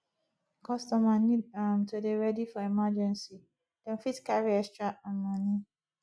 customer need um to dey ready for emergency dem fit carry extra um money